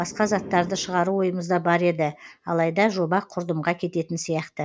басқа заттарды шығару ойымызда бар еді алайда жоба құрдымға кететін сияқты